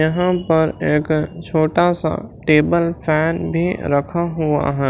यहां पर एक छोटा सा टेबल फैन भी रखा हुआ है।